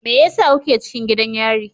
Me yasa kuke cikin gidan yari?